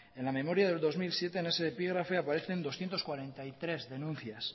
en la memoria del dos mil siete en ese epígrafe aparecen doscientos cuarenta y tres denuncias